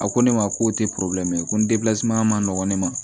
A ko ne ma k'o tɛ ko ma nɔgɔn ne ma